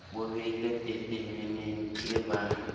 bo beilwe pepeneneng ke ba